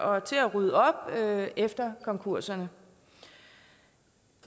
og til at rydde op efter konkurserne